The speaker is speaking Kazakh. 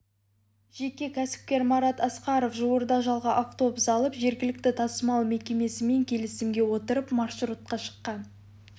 жеке кәсіпкер марат асқаров жуырда жалға автобус алып жергілікті тасымал мекемесімен келісімге отырып маршрутқа шыққан